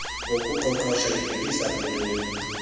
nokuqoqosha ibhekisa kwintoni